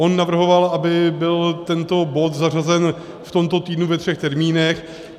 On navrhoval, aby byl tento bod zařazen v tomto týdnu ve třech termínech.